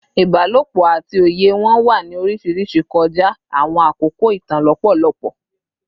Ibalopo ati oye wọn wa ni oriṣiriṣi kọja awọn akoko itan lọpọlọpọ